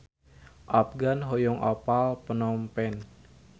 Afgan hoyong apal Phnom Penh